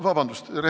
Vabandust!